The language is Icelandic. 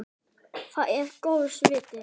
Það er góðs viti.